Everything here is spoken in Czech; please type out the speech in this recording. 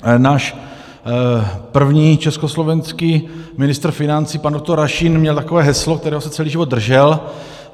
Náš první československý ministr financí pan doktor Rašín měl takové heslo, kterého se celý život držel.